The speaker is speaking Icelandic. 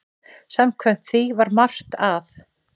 Samkvæmt því var margt að.